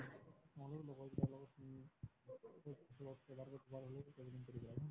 ময়ো লগৰ কিটাৰ লগত travelling কৰিলো আৰু